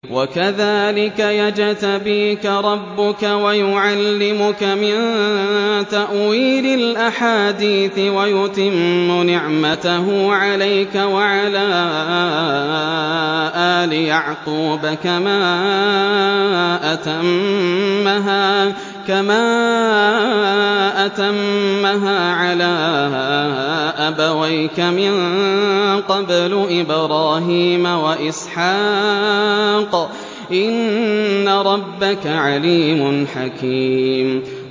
وَكَذَٰلِكَ يَجْتَبِيكَ رَبُّكَ وَيُعَلِّمُكَ مِن تَأْوِيلِ الْأَحَادِيثِ وَيُتِمُّ نِعْمَتَهُ عَلَيْكَ وَعَلَىٰ آلِ يَعْقُوبَ كَمَا أَتَمَّهَا عَلَىٰ أَبَوَيْكَ مِن قَبْلُ إِبْرَاهِيمَ وَإِسْحَاقَ ۚ إِنَّ رَبَّكَ عَلِيمٌ حَكِيمٌ